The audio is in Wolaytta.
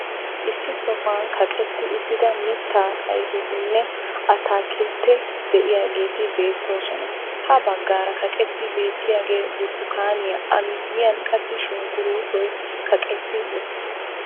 Issi sohuwan kaqqetti uttida mitaa ayfetinne attaakilteti de'iyageeti beettoosona. Ha baggaara kaqqettidi beetiyaagee burtukkaaniya a miyiyan qassi shunkkurutoy kaqqetti uttiis.